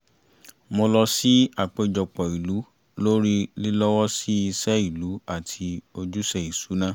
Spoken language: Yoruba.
mo lọ sí àpéjọpọ̀ ìlú lórí lílọ́wọ́sí iṣẹ́ ìlú àti ojúṣe ìṣúná